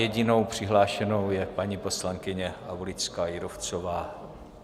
Jedinou přihlášenou je paní poslankyně Aulická Jírovcová.